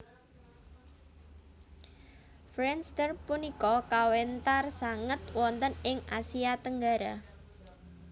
Friendster punika kawentar sanget wonten ing Asia Tenggara